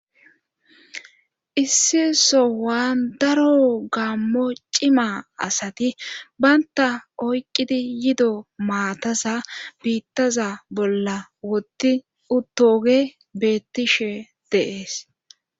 Issi sowaan daro gammo cima asati baynta oyqqidi yido maataza biittaza bolla woti uttoge beettishe deees.